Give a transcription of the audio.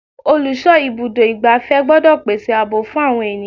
Olùsọ ibùdó igbàfẹ́ gbọ́dọ̀ gbèsè ààbò fún àwọn ènìyàn.